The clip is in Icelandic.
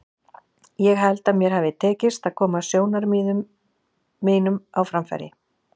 Ég held að mér hafi tekist að koma sjónarmiðum mínum á framfæri.